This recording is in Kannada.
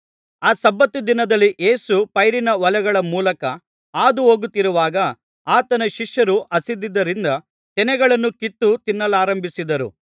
ಆ ಸಬ್ಬತ್ ದಿನದಲ್ಲಿ ಯೇಸು ಪೈರಿನ ಹೊಲಗಳ ಮೂಲಕ ಹಾದುಹೋಗುತ್ತಿರುವಾಗ ಆತನ ಶಿಷ್ಯರು ಹಸಿದಿದ್ದರಿಂದ ತೆನೆಗಳನ್ನು ಕಿತ್ತು ತಿನ್ನಲಾರಂಭಿಸಿದರು